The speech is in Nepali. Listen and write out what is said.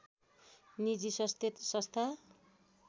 निजी स्वास्थ संस्था